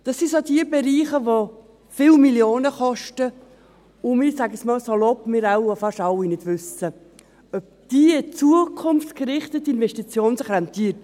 Es sind die Bereiche, welche viele Millionen kosten, von welchen wir – ich sage es etwas salopp – fast alle nicht wissen, ob sich diese zukunftsgerichtete Investition rentiert.